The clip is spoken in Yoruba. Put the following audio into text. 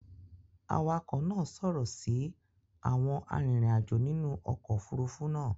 awakọ̀ náa ṣòro si Àwọn arinrin-ajo nínú okò òfurufú náa.